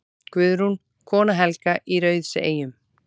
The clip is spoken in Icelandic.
Guðrún, kona Helga í Rauðseyjum.